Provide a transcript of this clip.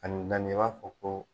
Ani naani i b''a fɔ ko.